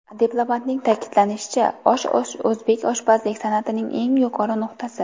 Diplomatning ta’kidlashicha, osh o‘zbek oshpazlik san’atining eng yuqori nuqtasi.